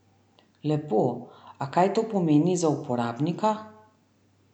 Lepo, a kaj to pomeni za uporabnika?